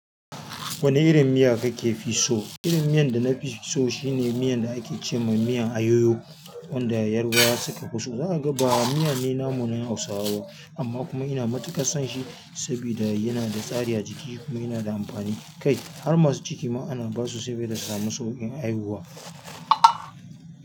Wane irin miya kake fi so? Irin miyan da na fi so shine miyan da ake ce ma miyan ayoyo, wanda yarabawa suka fi so. Za a ga ba miya ne namu na Hausawa ba, amma kuma ina matuƙar son shi sabida yana da tsari a jiki kuma yana da amfani kai. Har masu ciki ma ana ba su sabida su sami sauƙin haihuwa.